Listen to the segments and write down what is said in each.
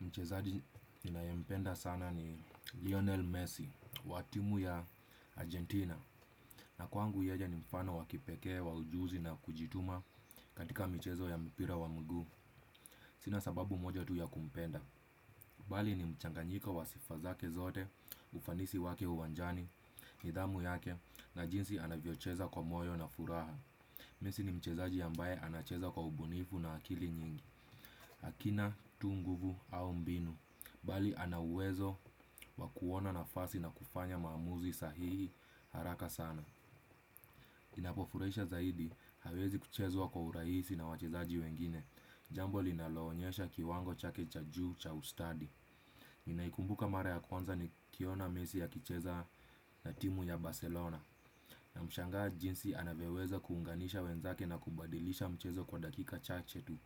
Mchezaji ninayempenda sana ni Lionel Messi wa timu ya Argentina. Na kwangu yeye ni mfano wa kipekee wa ujuzi na kujituma katika michezo ya mpira wa mguu. Sina sababu moja tu ya kumpenda. Bali ni mchanganyiko wa sifa zake zote, ufanisi wake uwanjani, nidhamu yake, na jinsi anavyocheza kwa moyo na furaha. Messi ni mchezaji ambaye anacheza kwa ubunifu na akili nyingi, hakina tu nguvu au mbinu. Bali ana uwezo wa kuona nafasi na kufanya maamuzi sahihi haraka sana. Kinapofurahisha zaidi hawezi kuchezwa kwa urahisi na wachezaji wengine jambo linaloonyesha kiwango chake cha juu cha ustadi. Ninaikumbuka mara ya kwanza nikiona mesi akicheza na timu ya Barcelona. Namshangaa jinsi anavyoweza kuunganisha wenzake na kubadilisha mchezo kwa dakika chache tu.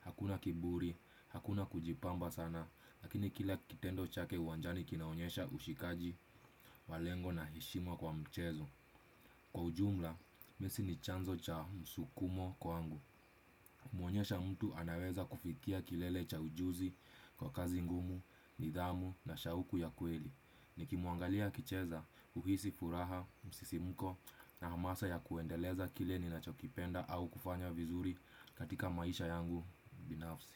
Hakuna kiburi, hakuna kujipamba sana lakini kila kitendo chake uwanjani kinaonyesha ushikaji wa lengo na heshima kwa mchezo kwa ujumla, messi ni chanzo cha msukumo kwangu. Muonyesha mtu anaweza kufikia kilele cha ujuzi kwa kazi ngumu, nidhamu na shauku ya kweli. Nikimuangalia kicheza, huhisi furaha, msisimko na hamasa ya kuendeleza kile ninachokipenda au kufanya vizuri katika maisha yangu binafsi.